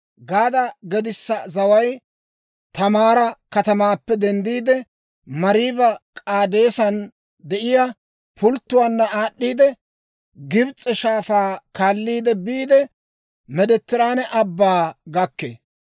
Gaada gedissa zaway Taamaara katamaappe denddiide, Mariiba-K'aadeesan de'iyaa pulttuwaanna aad'd'iidde, Gibs'e Shaafaa kaalliide biide, Meediteraane Abbaa gakkee.